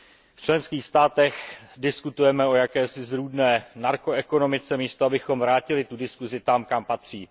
V členských státech diskutujeme o jakési zrůdné narkoekonomice, místo abychom vrátili tu diskuzi tam, kam patří.